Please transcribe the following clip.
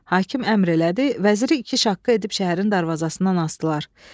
Hakim əmr elədi, vəziri iki şaqqa edib şəhərin darvazasından asdılar.